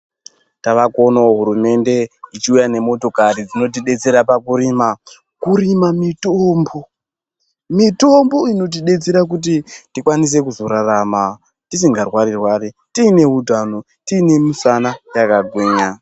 Tavakuonawo hurumende ichiuyawo nemotokari dzinoti detsera pakurima kurima mitombo mitombo inotidetsera kuti tikwanise kuzorarama tisinga rwari rwari tiine utano tiine misana yakagwinya.